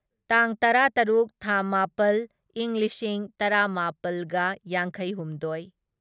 ꯇꯥꯡ ꯇꯔꯥꯇꯔꯨꯛ ꯊꯥ ꯃꯥꯄꯜ ꯢꯪ ꯂꯤꯁꯤꯡ ꯇꯔꯥꯃꯥꯄꯜꯒ ꯌꯥꯡꯈꯩꯍꯨꯝꯗꯣꯢ